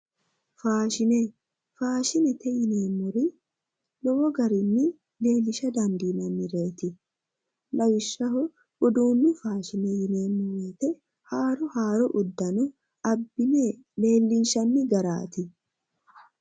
Faashine, faashinete yineemmori lowo garini leellisha dandiinannireti lawishshaho uduunu faashine yineemmo haaro haaro udano abbine leellinshanni garati.